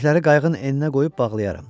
Kürəkləri qayığın eninə qoyub bağlayaram.